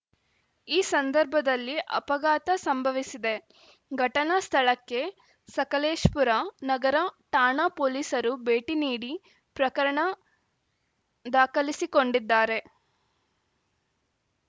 ಈ ಸಂರ್ಭದಲ್ಲಿ ಅಪಘಾತ ಸಂಭವಿಸಿದೆ ಘಟನಾ ಸ್ಥಳಕ್ಕೆ ಸಕಲೇಶ್ ಪುರ ನಗರ ಠಾಣಾ ಪೊಲೀಸರು ಭೇಟಿ ನೀಡಿ ಪ್ರಕರಣ ದಾಖಲಿಸಿಕೊಂಡಿದ್ದಾರೆ